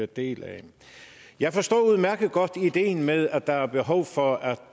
del af jeg forstår udmærket godt ideen med at der er behov for at